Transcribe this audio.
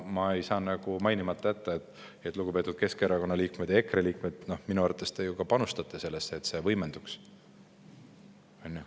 Ma ei saa ka mainimata jätta, et teie, lugupeetud Keskerakonna liikmed ja EKRE liikmed, minu arvates panustate ise ka sellesse, et see kõik võimenduks.